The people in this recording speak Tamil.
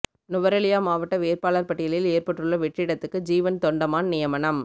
நுவரெலியா மாவட்ட வேட்பாளர் பட்டியலில் ஏற்பட்டுள்ள வெற்றிடத்துக்கு ஜீவன் தொண்டமான் நியமனம்